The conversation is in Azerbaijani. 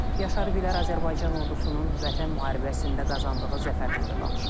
Yaşar Gülər Azərbaycan ordusunun Vətən müharibəsində qazandığı zəfərdən də danışıb.